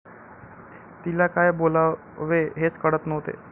तिला काय बोलावे हेच कळत नव्हते.